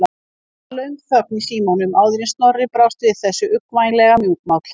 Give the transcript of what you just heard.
Það varð löng þögn í símanum áður en Snorri brást við þessu, uggvænlega mjúkmáll.